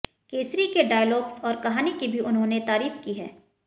केसरी के डायलॉग्स और कहानी की भी उन्होंने तारीफ की है